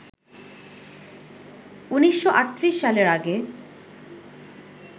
১৯৩৮ সালের আগে